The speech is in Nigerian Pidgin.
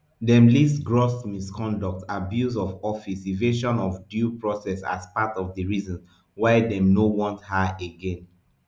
dem list gross misconduct abuse of office evasion of due process as part of di reasons why dem no want her again